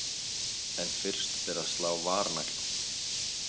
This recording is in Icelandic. En fyrst ber að slá varnagla.